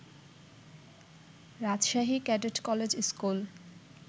Rajshahi cadet college school